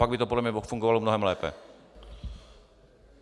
Pak by to podle mě fungovalo mnohem lépe.